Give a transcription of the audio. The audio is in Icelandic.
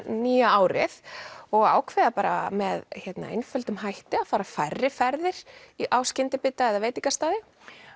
nýja árið og ákveða bara með einföldum hætti að fara færri ferðir á skyndibita eða veitingastaði